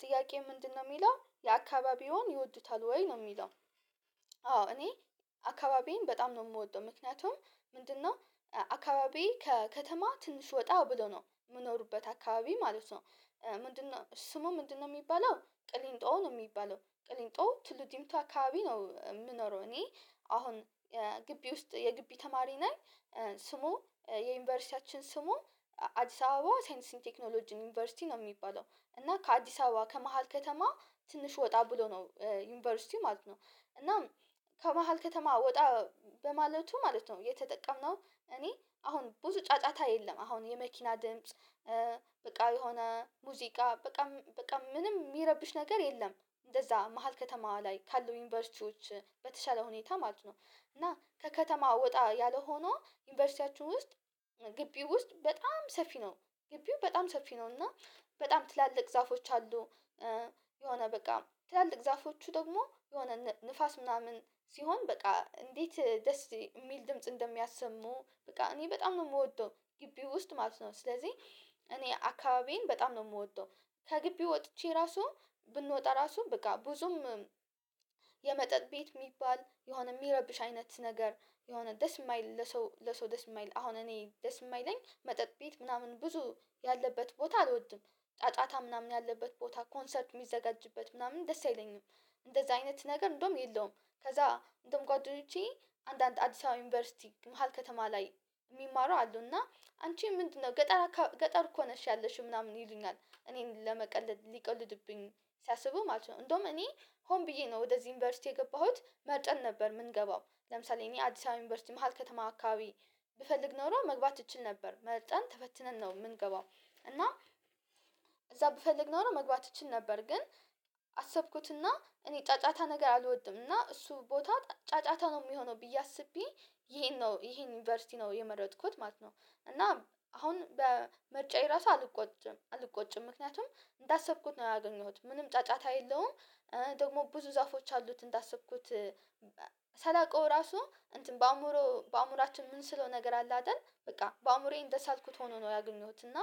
ጥያቄ ምንድነው የሚለው የአካባቢዎን ይወዱታል ወይ ነው የሚለው? አዎ እኔ አካባቢዬን በጣም ነው የምወደው ምክንያቱም ምንድነው አካባቢዬ ከከተማ ትንሽ ወጣ ብሎ ነው የምኖርበት አካባቢ ማለት ነው። ምንድነው ስሙ ምንድነው? የሚባለው ቅሊንጦ ነው የሚባለው ቅሊንጦ ቱሉ ዲምቱ አካባቢ ነው የምኖረው እኔ አሁን ግቢ ውስጥ የግቢ ተማሪ ነኝ። ስሙ የዩኒቨርሲቲያችን ስሙ አዲስ አበባ ሳይንስና ቴክኖሎጂ ዩኒቨርሲቲ ነው የሚባለው። እና ከአዲስ አበባ ከመሃል ከተማ ትንሽ ወጣ ብሎ ነው ዩኒቨርሲቲው ማለት ነው። እናም ከመሃል ከተማ ወጣ በማለቱ ማለት ነው የተጠቀምነው እኔ አሁን ብዙ ጫጫታ የለም አሁን የመኪና ድምጽ በቃ የሆነ ሙዚቃ በቃ በቃ ምንም የሚይረብሽ ነገር የለም። እንደዛ መሃል ከተማ ላይ ካሉ ዩኒቨርሲቲዎች በተሻለ ሁኔታ ማለት ነው። እና ከከተማ ወጣ ያለ ሆኖ ዩኒቨርሲቲያችን ውስጥ ግቢው ውስጥ በጣም ሰፊ ነው። ግቢው በጣም ሰፊ ነው እና በጣም ትላልቅ ዛፎች አሉ። የሆነ በቃ ትላልቅ ዛፎቹ ደግሞ የሆነ ንፋስ ምናምን ሲሆን በቃ እንዴት ደስ እሚል ድምጽ እንደሚያሰሙ በቃ እኔ በጣም ነው የምወደው ግቢ ውስጥ ማለት ነው ስለዚህ እኔ አካባቢዬን በጣም ነው የምወደው። ከግቢው ወጥቼ ራሱ ብንወጣ ራሱ በቃ ብዙም የመጠጥ ቤት የሚባል የሆነ የሚረብሽ አይነት ነገር የሆነ ደስ እማይል ለሰው ለሰው ደስ እማይል አሁን እኔ ደስ እማይለኝ መጠጥ ቤት ምናምን ብዙ ያለበት ቦታ አልወድም። ጫጫታ ምናምን ያለበት ቦታ ኮንሰርት የሚዘጋጅበት ምናምን ደስ አይለኝም። እንደዛ አይነት ነገር እንደውም የለውም። ከዛ እንደውም ጓደኞቼ አንዳንድ አዲስ አበባ ዩኒቨርሲቲ መሃል ከተማ ላይ የሚማሩ አሉ እና አንቺ ምንድነው ገጠር ገጠር እኮ ነሽ ያለሽው ምናምን ይሉኛል እኔን ለመቀለድ ሊቀልዱብኝ ሲያስቡ ማለት ነው። እንደውም እኔ ሆን ብዬ ነው ወደዚህ ዩኒቨርሲቲ የገባሁት መርጠን ነበር የምንገባው ለምሳሌ እኔ አዲስ አበባ ዩኒቨርሲቲ መሃል ከተማ አካባቢ ብፈልግ ኖሮ መግባት እችል ነበር መርጠን ተፈትነን ነው የምንገባው። እና እዛ ብፈልግ ኖሮ መግባት እችል ነበር። ግን አሰብኩትና እኔ ጫጫታ ነገር አልወድም እና እሱ ቦታ ጫጫታ ነው የሚሆነው ብዬ አስቤ ይሄን ነው ይሄን ዩኒቨርሲቲ ነው የመረጥኩት ማለት ነው። እና አሁን በምርጫዬ ራሱ አልቆጭም አልቆጭም ምክንያቱም እንዳሰብኩት ነው ያገኘሁት ምንም ጫጫታ የለውም። ደግሞ ብዙ ዛፎች አሉት እንዳሰብኩት ሳላውቀው ራሱ እንትን በአእምሮ በአእምሮአችን ምንስለው ነገር አለ አይደል በቃ በአእምሮዬ እንደሳልኩት ሆኖ ነው ያገኘሁት እና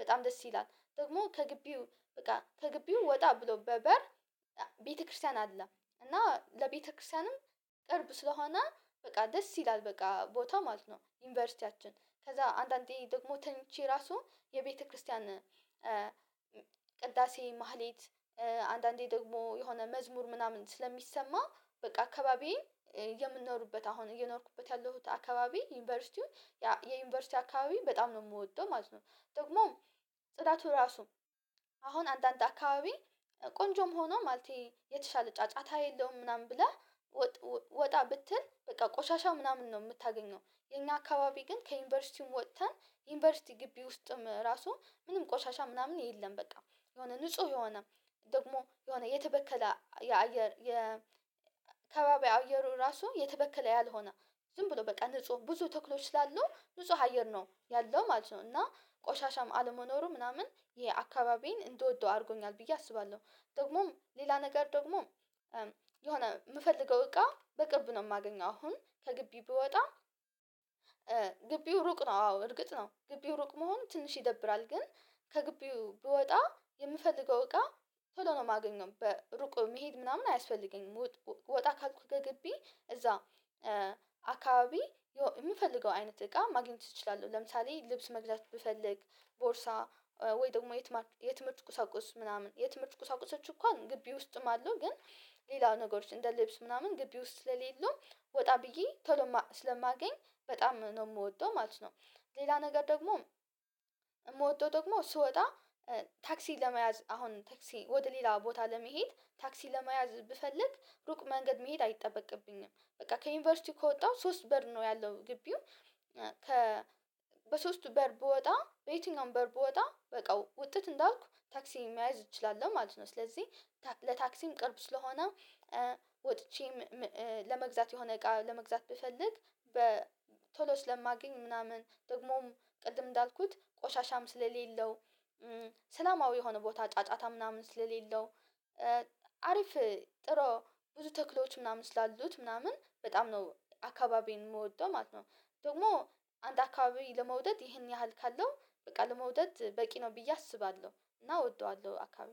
በጣም ደስ ይላል ደግሞ ከግቢው በቃ ከግቢው ወጣ ብሎ በበር ቤተክርስቲያን አለ። እና ለቤተክርስቲያንም ቅርብ ስለሆነ በቃ ደስ ይላል በቃ ቦታው ማለት ነው ዩኒቨርሲቲያችን ከዛ አንዳንዴ ደግሞ ተኝቼ ራሱ የቤተክርስቲያን ቅዳሴ ማህሌት አንዳንዴ ደግሞ የሆነ መዝሙር ምናምን ስለሚሰማ በቃ አካባቢዬ የምንኖርበት አሁን እየኖርኩበት ያለሁት አካባቢ ዩኒቨርሲቲውን የዩኒቨርሲቲ አካባቢ በጣም ነው የምወደው ማለት ነው። ደግሞም ጽዳቱ ራሱ አሁን አንዳንድ አካባቢ ቆንጆም ሆኖ ማለቴ የተሻለ ጫጫታ የለውም ምናምን ብለህ ወጣ ብትል በቃ ቆሻሻ ምናምን ነው የምታገኘው የኛ አካባቢ ግን ከዩኒቨርሲቲውም ወጥተን ዩኒቨርሲቲ ግቢ ውስጥም ራሱ ምንም ቆሻሻ ምናምን የለም። በቃ የሆነ ንጹህ የሆነ ደግሞ የሆነ የተበከለ የአየር የከባቢይው አየሩ ራሱ የተበከለ ያልሆነ ዝም ብሎ በቃ ንጹህ ብዙ ተክሎች ስላሉ ንጹ አየር ነው ያለው ማለት ነው እና ቆሻሻም አለመኖሩ ምናምን ያአካባቢዬን እንድወደው አድርጎኛል ብዬ አስባለሁ። ደግሞም ሌላ ነገር ደግሞ የሆነ የምፈልገው እቃ በቅርብ ነው የማገኘው አሁን ከግቢ ብወጣ ግቢው ሩቅ ነው አዎ እርግጥ ነው ግቢው ሩቅ መሆኑ ትንሽ ይደብራል ግን ከግቢው ብወጣ የምፈልገው እቃ ቶሎ ነው የማገኘው በሩቅ መሄድ ምናምን አያስፈልገኝም። ወጣ ካልኩ ከግቢ እዛ አካባቢ የምፈልገው አይነት እቃ ማግኘት እችላለሁ ለምሳሌ ልብስ መግዛት ብፈልግ ቦርሳ ወይ ደግሞ የትምህርት ቁሳቁስ ምናምን የትምህርት ቁሳቁሶች እንኳን ግቢ ውስጥም አሉ ግን ሌላ ነገሮች እንደ ልብስ ምናምን ግቢ ውስጥ ለሌሉ ወጣ ብዬ ቶሎ ስለማገኝ በጣም ነው የምወደው ማለት ነው። ሌላ ነገር ደግሞ የምወደው ደግሞ ስወጣ ታክሲ ለመያዝ አሁን ታክሲ ወደ ሌላ ቦታ ለመሄድ ታክሲ ለመያዝ ብፈልግ ሩቅ መንገድ መሄድ አይጠበቅብኝም በቃ ከዩኒቨርሲቲ ከወጣሁ ሶስት በር ነው ያለው ግቢው ከ በሶስቱ በር ብወጣ በየትኛውም በር ብወጣ በቃ ውጥት እንዳልኩ ታክሲ መያዝ እችላለሁ ማለት ነው። ስለዚህ ለታክሲም ቅርብ ስለሆነ ወጥቼም ለመግዛት የሆነ እቃ ለመግዛት ብፈልግ በ ቶሎ ስለማገኝ ምናምን ደግሞም ቅድም እንዳልኩት ቆሻሻም ስለሌለው ሰላማዊ የሆነ ቦታ ጫጫታ ምናምን ስለሌለው አሪፍ ጥሮ ብዙ ተክሎች ምናምን ስላሉት ምናምን በጣም ነው አካባቢዬን የምወደው ማለት ነው። ደግሞ አንድ አካባቢ ለመውደድ ይሄን ያህል ካለው በቃ ለመውደድ በቂ ነው ብዬ አስባለሁ እና እወደዋለሁ አካባቢ